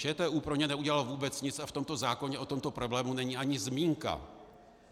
ČTÚ pro ně neudělal vůbec nic a v tomto zákoně o tomto problému není ani zmínka.